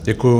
Děkuji.